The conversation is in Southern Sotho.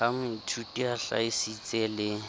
ha moithuti a hlahisitse le